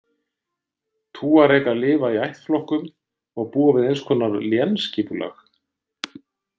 Túaregar lifa í ættflokkum og búa við eins konar lénsskipulag.